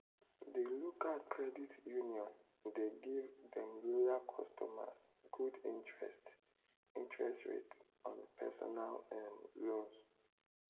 the local credit union dey give dem loyal customers good interest interest rates on personal um loans.